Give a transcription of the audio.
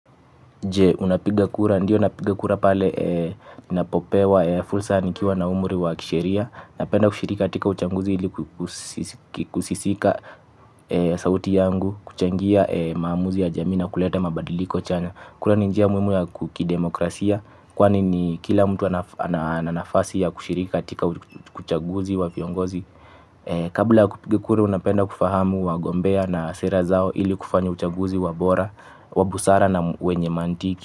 Je, unapigakura, ndiyo unapigakura pale napopewa, fulsa nikiwa na umri wa kisheria. Napenda kushiriki katika uchanguzi ili kusisika sauti yangu kuchangia maamuzi ya jamii na kuleta mabadiliko chanya kwahiyo ni njia muhimu ya kidemokrasia kwani kila mtu ana nafasi ya kushiriki katika uchaguzi wa viongozi. Kabla kupiga kura unapenda kufahamu wagombea na sira zao ili kufanya uchaguzi wabora, wabusara na wenye mantiki.